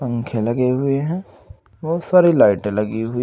पंख लगे हुए हैं बहोत सारी लाइटें लगी हुई--